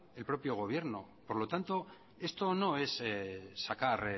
el propio gobierno por lo tanto esto no es sacar